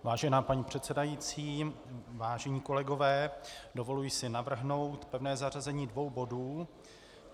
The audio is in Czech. Vážená paní předsedající, vážení kolegové, dovoluji si navrhnout pevné zařazení dvou bodů.